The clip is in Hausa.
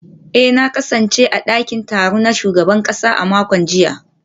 eh na kasance a dakin taro na shugaban kasa a makon jiya